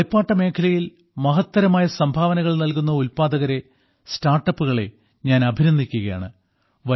കളിപ്പാട്ട മേഖലയിൽ മഹത്തരമായ സംഭാവനകൾ നൽകുന്ന ഉല്പാദകരെ സ്റ്റാർട്ടപ്പുകളെ ഞാൻ അഭിനന്ദിക്കുകയാണ്